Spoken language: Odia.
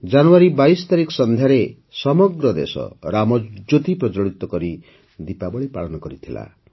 ଜାନୁଆରୀ ୨୨ ତାରିଖ ସନ୍ଧ୍ୟାରେ ସମଗ୍ର ଦେଶ ରାମଜ୍ୟୋତି ପ୍ରଜ୍ଜ୍ୱଳିତ କରି ଦୀପାବଳୀ ପାଳନ କରିଥିଲା